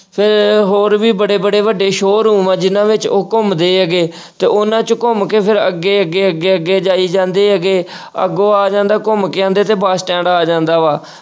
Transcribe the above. ਫਿਰ ਹੋਰ ਵੀ ਬੜੇ ਬੜੇ ਵੱਡੇ show-room ਆ ਜਿੰਨਾਂ ਵਿੱਚ ਉਹ ਘੁੰਮਦੇ ਹੈਗੇ ਤੇ ਉਹਨਾਂ 'ਚ ਘੁੰਮ ਕੇ ਫਿਰ ਅੱਗੇ-ਅੱਗੇ, ਅੱਗੇ-ਅੱਗੇ ਜਾਈ ਜਾਂਦੇ ਹੈਗੇ ਅੱਗੋਂ ਆ ਜਾਂਦਾ ਘੁੰਮ ਕੇ ਆਉਂਦੇ ਤੇ ਬਸ ਸਟੈਂਡ ਆ ਜਾਂਦਾ ਵਾ।